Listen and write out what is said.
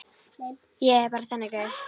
Ég er bara þannig gaur.